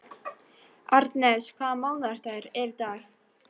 Arnes, hvaða mánaðardagur er í dag?